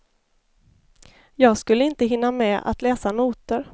Jag skulle inte hinna med att läsa noter.